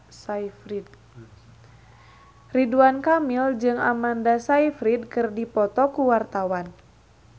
Ridwan Kamil jeung Amanda Sayfried keur dipoto ku wartawan